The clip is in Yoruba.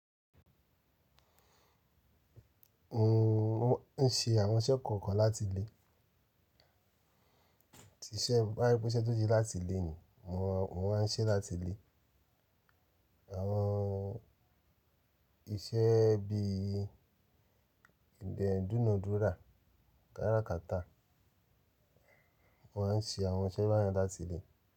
Mo n ṣe àwọn iṣẹ́ kọ̀ọ̀kan láti ilé. Tí iṣẹ́ bá rí pé ṣe tó jí láti ilé ni mo ma n ṣe é láti ilé. Àwọn iṣẹ́ bí i ìbẹ̀dùn òdúrà, kárá kátà. Mo ma n ṣe àwọn iṣẹ́ báyìí láti ilé.